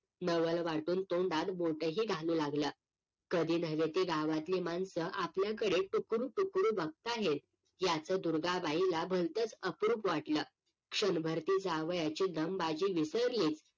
नवल वाटून तोंडात बोटं ही घालू लागलं कधी न्हवे ती गावातली माणसं आपल्याकडे टुकूर टुकूर बघता आहेत याचं दुर्गाबाईला भलतंच अप्रुक वाटलं क्षणभर ती जावयाची दमबाजी विसरलीच